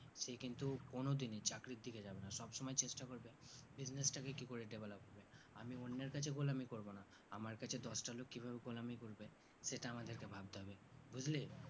সে কিন্তু কোনো দিনই চাকরির দিকে যাবে না সব সময় চেষ্টা করবে business টাকে কি করে develop হবে আমি অন্যের কাছে গোলামী করবো না আমার কাছে দশটা লোক কি ভাবে গোলামী করবে সেটা আমাদেরকে ভাবতে হবে বুজলি